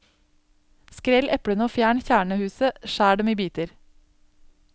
Skrell eplene og fjern kjernehuset, skjær dem i biter.